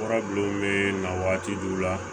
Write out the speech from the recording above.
Warabilenw bɛ na waati di u la